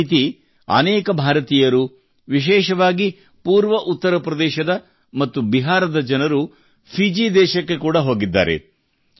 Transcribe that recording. ಇದೇ ರೀತಿ ಅನೇಕ ಭಾರತೀಯರು ವಿಶೇಷವಾಗಿ ಪೂರ್ವ ಉತ್ತರಪ್ರದೇಶದ ಮತ್ತು ಬಿಹಾರದ ಜನರು ಫಿಜಿ ದೇಶಕ್ಕೆ ಕೂಡಾ ಹೋಗಿದ್ದಾರೆ